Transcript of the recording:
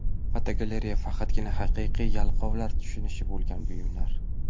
Fotogalereya: Faqatgina haqiqiy yalqovlar tushunishi bo‘lgan buyumlar.